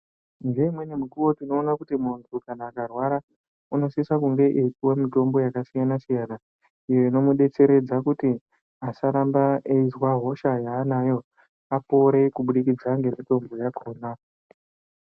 Ngeimweni mikuwo tinoona kuti muntu kana akarwara unosisa kunge eipuwa mitombo yakasiyana-siyana iyo ino mudetseredza kuti asaramba eizwe hosha yaaanayo, apore kubudikidza ngemitombo yakhona.